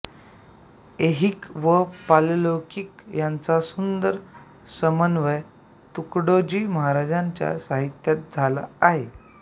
ऐहिक व पारलौकिक यांचा सुंदर समन्वय तुकडोजी महाराजांच्या साहित्यात झाला आहे